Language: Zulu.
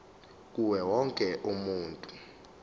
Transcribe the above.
kuwo wonke umuntu